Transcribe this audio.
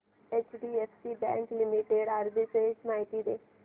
HDFC bank limited arbitrage माहिती दे